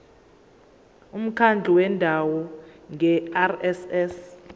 umkhandlu wendawo ngerss